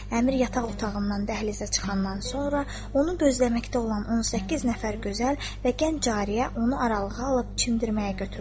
Əmir yataq otağından dəhlizə çıxandan sonra onu bözləməkdə olan 18 nəfər gözəl və gənc cariyə onu aralığa alıb çimirməyə götürdülər.